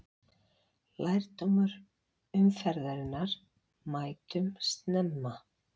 Lærdómur umferðarinnar: Mætum snemma!